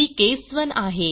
ही case 1 आहे